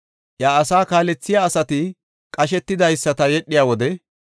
Bittan de7iya qasho asa banta tohuwpe garsan yedhiya wode,